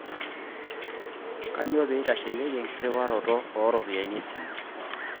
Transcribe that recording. Kanyio peyie itasheyieki enkirriwarroto ooropiyiani esimu?